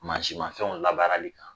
Mansinmafɛnw labaarali kan